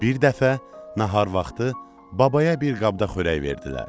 Bir dəfə nahar vaxtı babaya bir qabda xörək verdilər.